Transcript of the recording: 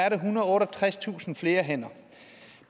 ethundrede og otteogtredstusind flere hænder